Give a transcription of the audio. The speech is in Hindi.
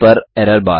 टर्मिनल पर errorbar